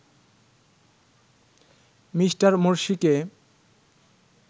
Mr মোরসিকে